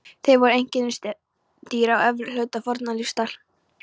Þeir voru einkennisdýr á efri hluta fornlífsaldar.